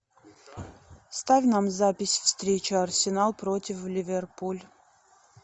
ставь нам запись встречи арсенал против ливерпуль